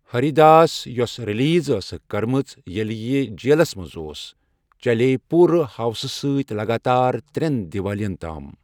ہری داس، یۄس ریلیز ٲسٕکھ کٔرمٕژ ییٚلہِ یہِ جیلس منٛز اوس، چلییہ پوٗرٕ ہوسہٕ سۭتۍ لگاتار ترٛٮ۪ن دیوالین تام۔